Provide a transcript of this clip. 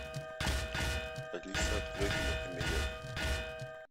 алиса открой кинокомедия